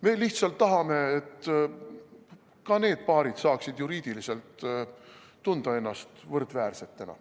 Me lihtsalt tahame, et ka need paarid saaksid juriidiliselt tunda ennast võrdväärsetena.